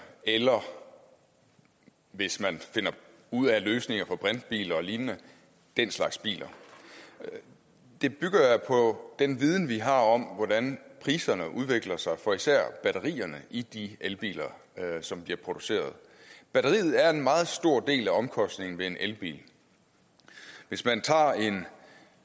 eller hvis man finder ud af løsninger for brintbiler og lignende den slags biler det bygger jeg på den viden vi har om hvordan priserne udvikler sig for især batterierne i de elbiler som bliver produceret batteriet er en meget stor del af omkostningen ved en elbil hvis man tager en